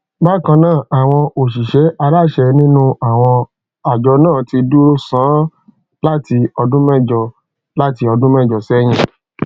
bákan náà àwọn òṣìṣẹ aláṣẹ nínú àwọn àjọ náà ti dúró sánún láti ọdún mẹjọ láti ọdún mẹjọ sẹyìn